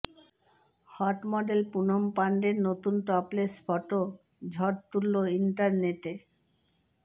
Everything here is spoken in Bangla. হট মডেল পুনম পান্ডের নতুন টপলেস ফটো ঝড় তুললো ইন্টারনেটে